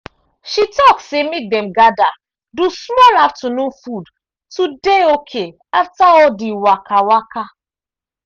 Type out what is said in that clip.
she talk say make dem gather do small afternoon food to dey okay after all the waka waka